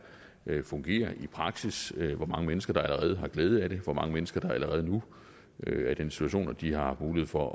fungerer i praksis hvor mange mennesker der allerede har glæde af det hvor mange mennesker der allerede nu er i den situation at de har haft mulighed for